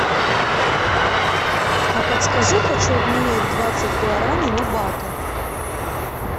а подскажи хочу обменять двадцать гуарани на баты